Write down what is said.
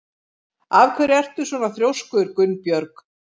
Af hverju ertu svona þrjóskur, Gunnbjörg?